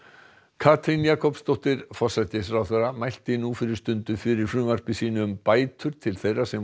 Katrín Jakobsdóttir forsætisráðherra mælti nú fyrir stundu fyrir frumvarpi sínu um bætur til þeirra sem